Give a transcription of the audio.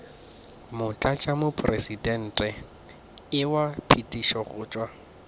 motlatšamopresidente wa phethišo go tšwa